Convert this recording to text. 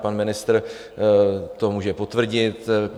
Pan ministr to může potvrdit.